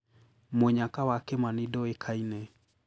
Mũnyaka wa Kimani ndũĩkaine.